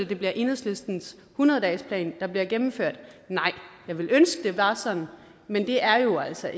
det bliver enhedslistens hundrede dagesplan der bliver gennemført nej jeg ville ønske det var sådan men det er jo altså